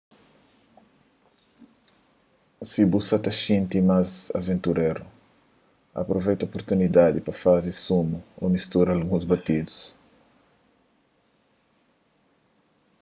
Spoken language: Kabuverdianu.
si bu sa ta xinti más aventuréru apruveita oportunidadi pa faze sumu ô mistura alguns batidus